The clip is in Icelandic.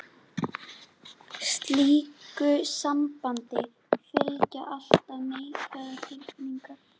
Slíku sambandi fylgja alltaf neikvæðar tilfinningar.